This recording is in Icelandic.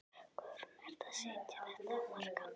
Guðrún: Ertu að setja þetta á markað?